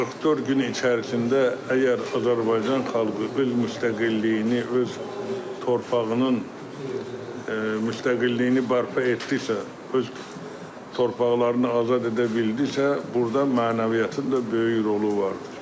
44 gün içərisində əgər Azərbaycan xalqı öz müstəqilliyini, öz torpağının müstəqilliyini bərpa etdisə, öz torpaqlarını azad edə bildisə, burda mənəviyyatın da böyük rolu vardır.